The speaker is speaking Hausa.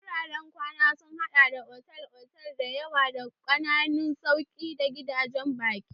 Wuraren kwana sun haɗa da otal-otal da yawa da ƙananan masauki da gidajen baƙi.